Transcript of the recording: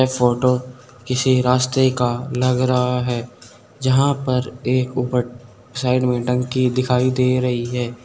Photo किसी रास्ते का लग रहा है जहां पर एक ऊपर साइड में टंकी दिखाई दे रही है।